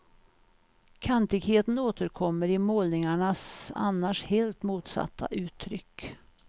Kantigheten återkommer i målningarnas annars helt motsatta uttryck.